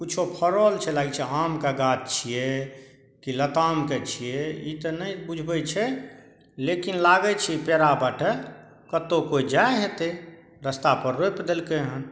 कुछों फरल छै लागय छै आम के गाछ छीये की लताम के छीये इ ते ने बुझाय छै लेकिन लागे छै कोय जाय होते रस्ता पर रोप देलके हन।